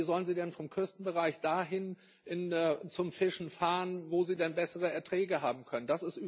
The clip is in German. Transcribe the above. Aber wie sollen sie denn vom Küstenbereich dahin zum Fischen fahren, wo sie dann bessere Erträge haben können?